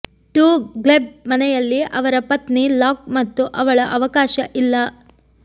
to ಗ್ಲೆಬ್ ಮನೆಯಲ್ಲಿ ಅವರ ಪತ್ನಿ ಲಾಕ್ ಮತ್ತು ಅವಳ ಅವಕಾಶ ಇಲ್ಲ